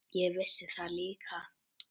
Ég vissi það líka.